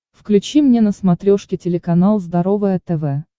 включи мне на смотрешке телеканал здоровое тв